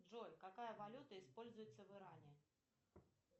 джой какая валюта используется в иране